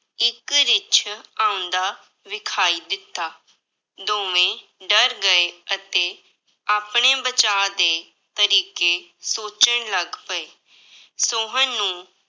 ਇੱਕ ਰਿੱਛ ਆਉਂਦਾ ਵਿਖਾਈ ਦਿੱਤਾ, ਦੋਵੇਂ ਡਰ ਗਏ ਅਤੇ ਆਪਣੇ ਬਚਾਅ ਦੇ ਤਰੀਕੇ ਸੋਚਣ ਲੱਗ ਪਏ, ਸੋਹਨ ਨੂੰ